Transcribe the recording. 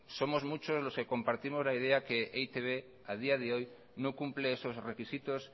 somos muchos los que compartimos la idea que e i te be a día de hoy no cumple esos requisitos